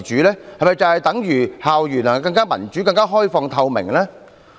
這是否等於校園能更民主、更開放透明？